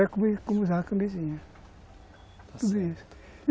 Era como usar a camisinha.